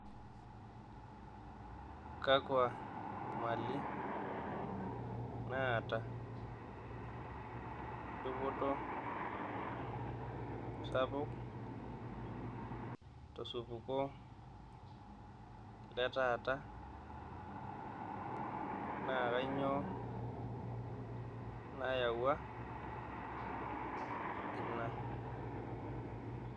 Kakwa mali naata dupoto sapuk tosupuko letaata? naa kainyioo nayawua ena?